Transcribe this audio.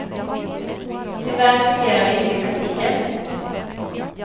Tyvärr fungerar det inte i praktiken.